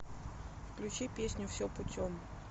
включи песню все путем